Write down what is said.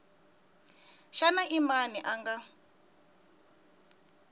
xana i mani a nga